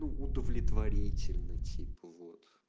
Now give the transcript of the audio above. удовлетворительно тепло